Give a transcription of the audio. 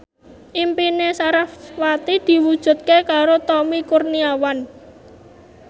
impine sarasvati diwujudke karo Tommy Kurniawan